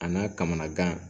A n'a kamanagan